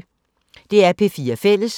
DR P4 Fælles